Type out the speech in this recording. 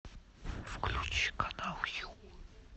включи канал ю